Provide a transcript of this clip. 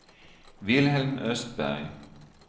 Vilhelm Östberg